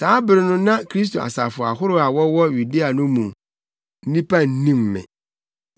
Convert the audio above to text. Saa bere no na Kristo asafo ahorow a wɔwɔ Yudea no mu nnipa nnim me.